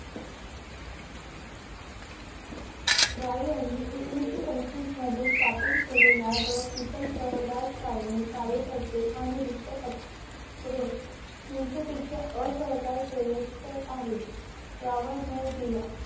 राय यांनी एकोणीशे पंचवीस मध्ये स्थापन केलेल्या द पेओप्लेस कार्यकर्ते आणि गुप्त पत्रे हिंशे पेक्षा आहे यावर भर दिला